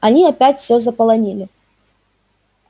они опять все заполонили